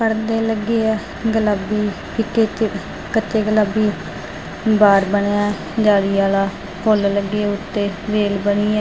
ਪਰਦੇ ਲੱਗੇ ਆ ਗੁਲਾਬੀ ਇੱਕ ਇੱਕ ਕੱਚੇ ਗੁਲਾਬੀ ਬਾਰ ਬਣਿਆ ਜਾਲੀ ਵਾਲਾ ਫੁੱਲ ਲੱਗੇ ਉਤੇ ਵੇਲ ਬਣੀ ਹੈ।